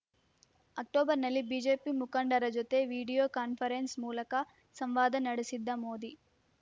ಅಕ್ಟೋಬರ್‌ನಲ್ಲಿ ಬಿಜೆಪಿ ಮುಖಂಡರ ಜೊತೆ ವಿಡಿಯೋ ಕಾನ್ಫರೆನ್ಸ್‌ ಮೂಲಕ ಸಂವಾದ ನಡೆಸಿದ್ದ ಮೋದಿ